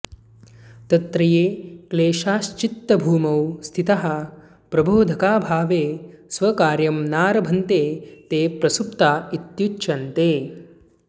तत्र ये क्लेशाश्चित्तभूमौ स्थिताः प्रबोधकाभावे स्वकार्यं नारभन्ते ते प्रसुप्ता इत्युच्यन्ते